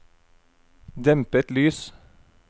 dempet lys